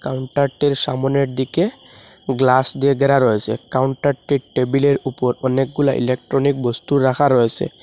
কাউন্টারটির সামোনের দিকে গ্লাস দিয়ে ঘেরা রয়েসে কাউন্টারটির টেবিলের উপর অনেকগুলি ইলেকট্রনিক বস্তু রাখা রয়েসে।